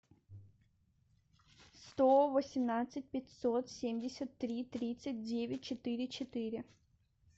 сто восемнадцать пятьсот семьдесят три тридцать девять четыре четыре